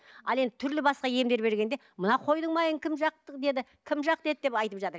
ал енді түрлі басқа емдер бергенде мына қойдың майын кім жақ деді кім жақ деді деп айтып жатады